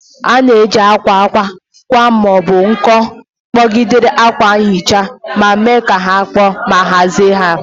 A na-eji akwa akwa akwa ma ọ bụ nko kpọgidere akwa nhicha ma mee ka ha kpoo ma hazie ya.